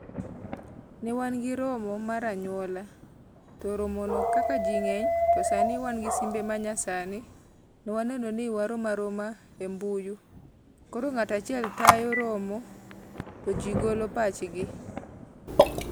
Ne wan gi romo mar anyuola. To romono kaka ji ng'eny, to sani wan gi simbe ma nyasani, nwa neno ni warom aroma e mbuyu. Koro ng'at achiel tayo romo to ji golo pachgi.